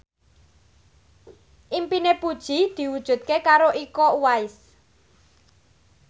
impine Puji diwujudke karo Iko Uwais